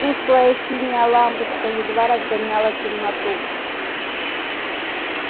тусклая синяя лампочка едва разгоняла темноту